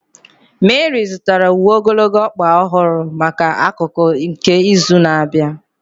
Meri zụtara uwe ogologo ọkpa ọhụrụ maka akụkụ nke izu na-abịa.